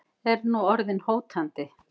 Er nú orðin hótandi.